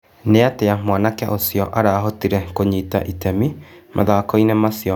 Nĩ atia mwanake ũcio arahotire kũnyita itemi mũthako-inĩ macio ma mahenya maraya.